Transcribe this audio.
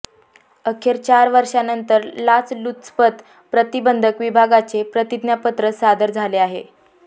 अखेर चार वर्षानंतर लाचलुचपत प्रतिबंधक विभागाचे प्रतिज्ञापत्र सादर झाले आहे